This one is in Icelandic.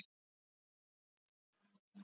Ég ætla að vona það.